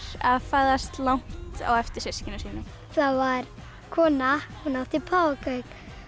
að fæðast langt á eftir systkinum sínum það var kona sem átti páfagauk